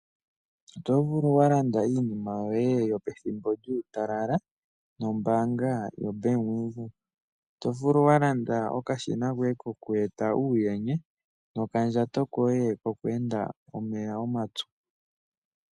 Oto vulu wa landa iinima yoye yopethimbo lyuutalala nombanga yoBank Windhoek. Oto vulu wa landa okashina koye koku eta uundjene nokandjato koye koku enda omeya omapyu.